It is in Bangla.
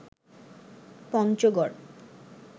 পঞ্চগড়